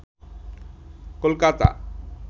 Kolkata